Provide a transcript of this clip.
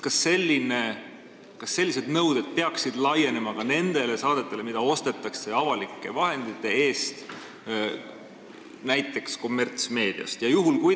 Kas sellised nõuded peaksid laienema ka nendele saadetele, mida ostetakse avalike vahendite eest näiteks kommertsmeediast?